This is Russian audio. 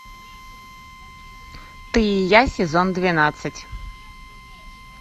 ты и я сезон двенадцать